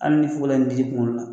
Ali ni fugulan dig'i kuŋolo la